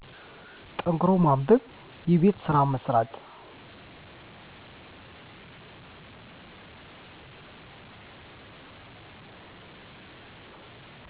ጠንክሮ ማንበብ የቤት ስራ መስራት